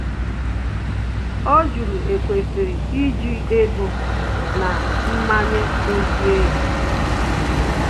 Ọ jụrụ e kwesịrị iji ego na mmanye dozie ya